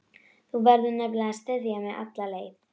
Þú verður nefnilega að styðja mig alla leið.